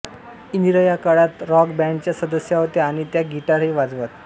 इंदिरा या काळात राॅक बॅंडच्या सदस्या होत्या आणि त्या गिटारही वाजवत